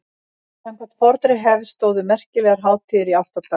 samkvæmt fornri hefð stóðu merkilegar hátíðir í átta daga